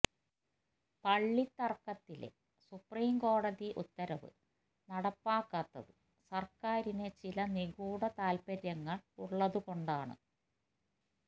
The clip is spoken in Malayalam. പളളത്തർക്കത്തിലെ സുപ്രീംകോടതി ഉത്തരവ് നടപ്പാക്കാത്തത് സർക്കാരിന് ചില നിഗൂഢ താൽപര്യങ്ങൾ ഉളളതുകൊണ്ടാണ്